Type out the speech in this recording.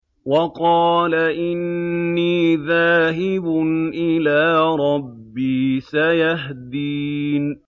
وَقَالَ إِنِّي ذَاهِبٌ إِلَىٰ رَبِّي سَيَهْدِينِ